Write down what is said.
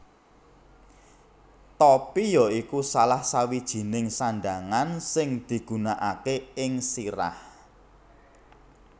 Topi ya iku salah sawijininng sandhangan sing digunakaké ing sirah